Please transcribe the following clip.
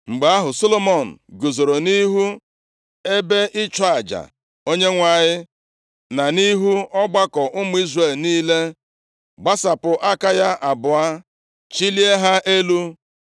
Mgbe ahụ, Solomọn guzoro nʼihu ebe ịchụ aja Onyenwe anyị, na nʼihu ọgbakọ ụmụ Izrel niile, gbasapụ aka ya abụọ chilie ha elu,